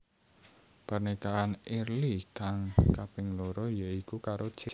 Pernikahan Early kang kaping loro ya iku karo Cesa